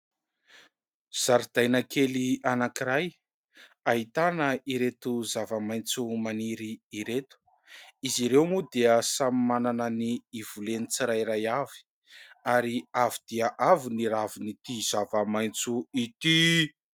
Zaridaina kely anankiray ahitana ireto zava-maitso maniry ireto, izy ireo moa dia samy manana ny ivoleny tsirairay avy ary avo dia avo ny ravin'ity zava-maitso ity.